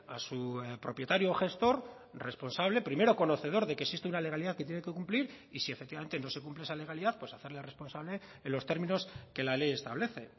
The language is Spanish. a su propietario o gestor responsable primero conocedor de que existe una legalidad que tiene que cumplir y si efectivamente no se cumple esa legalidad pues hacerle responsable en los términos que la ley establece